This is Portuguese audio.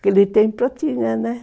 Naquele tempo tinha, né.